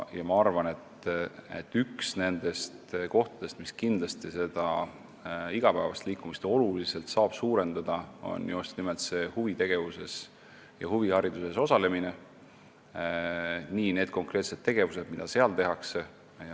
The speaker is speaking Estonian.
Ma arvan, et üks nendest kohtadest, mis kindlasti aitab igapäevast liikumist oluliselt suurendada, on just nimelt huvitegevuses ja huvihariduses osalemine, need konkreetsed tegevused, mida seal tehakse.